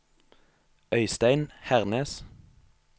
Øystein Hernes